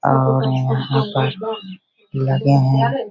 और यहाँ पर लगे है।